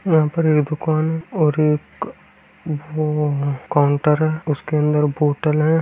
यहाँ पर एक दुकान और एक काउन्टर है उसके अंदर बोटल है ।